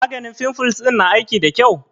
Maganin fimfles ɗin na aiki da ƙyau?